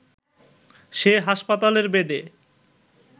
সে হাসপাতালের বেডে